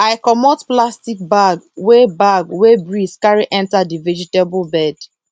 i comot plastic bag wey bag wey breeze carry enter the vegetable bed